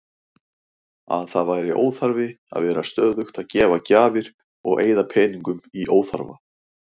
Að það væri óþarfi að vera stöðugt að gefa gjafir og eyða peningum í óþarfa.